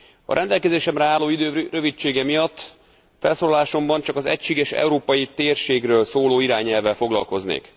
A rendelkezésemre álló idő rövidsége miatt felszólalásomban csak az egységes európai térségről szóló irányelvvel foglalkoznék.